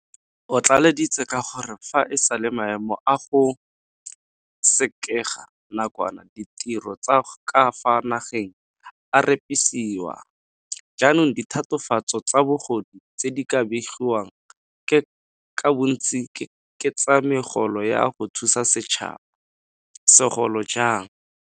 O tlaleleditse ka gore fa e sale maemo a go sekega nakwana ditiro tsa ka fa nageng a repisiwa, jaanong ditatofatso tsa bogodu tse di begiwang ka bontsi ke tsa megolo ya go thusa setšhaba, segolo jang.